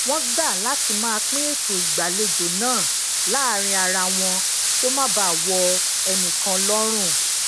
wón gba lati maa pin eto igbalejo naa láàárín ara wọn kí o ma baa wo enikan lorun